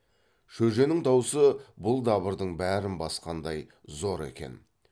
шөженің даусы бұл дабырдың бәрін басқандай зор екен